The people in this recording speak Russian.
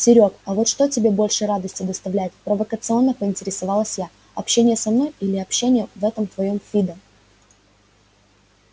серёг а вот что тебе больше радости доставляет провокационно поинтересовалась я общение со мной или общение в этом твоём фидо